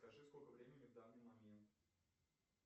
скажи сколько времени в данный момент